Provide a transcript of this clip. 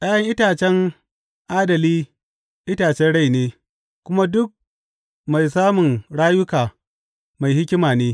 ’Ya’yan itacen adali itacen rai ne, kuma duk mai samun rayuka mai hikima ne.